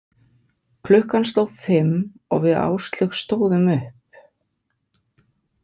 Klukkan sló fimm og við Áslaug stóðum upp.